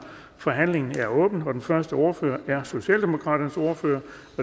forhandlingen er åbnet og den første ordfører er socialdemokraternes ordfører